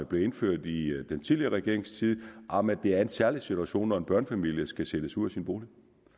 blev indført i den tidligere regerings tid om at det er en særlig situation når en børnefamilie skal sættes ud af sin bolig